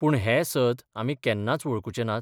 पूण हें सत आमी केन्नाच वळखुचे नात?